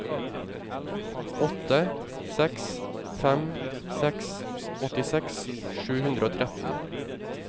åtte seks fem seks åttiseks sju hundre og tretten